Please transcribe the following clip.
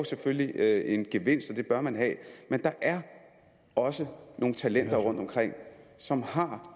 selvfølgelig er en gevinst og det bør man have men der er også nogle talenter rundtomkring som har